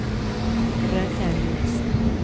Rønnaug Johnsen